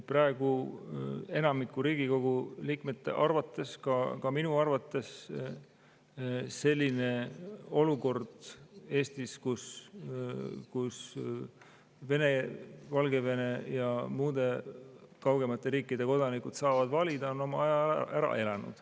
Praegu enamiku Riigikogu liikmete arvates, ka minu arvates selline olukord Eestis, kus Vene, Valgevene ja muude kaugemate riikide kodanikud saavad valida, on oma aja ära elanud.